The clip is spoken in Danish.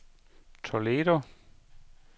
Toledo